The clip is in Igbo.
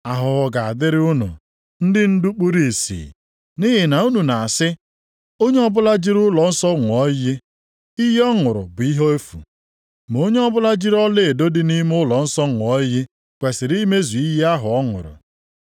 “Ahụhụ ga-adịrị unu ndị ndu kpuru ìsì! Nʼihi na unu na-asị, Onye ọbụla jiri ụlọnsọ ṅụọ iyi, iyi ọ ṅụrụ bụ ihe efu. Ma onye ọbụla jiri ọlaedo dị nʼime ụlọnsọ ṅụọ iyi kwesiri imezu iyi ahụ ọ ṅụrụ.